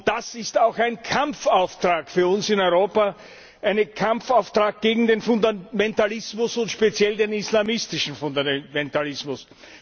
Das ist auch ein Kampfauftrag für uns in Europa, ein Kampfauftrag gegen den Fundamentalismus und speziell den islamistischen Fundamentalismus.